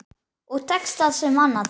Og tekst það sem annað.